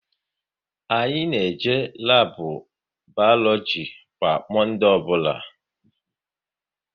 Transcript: Anyị na-eje labu Balogi kwa Monde ọbụla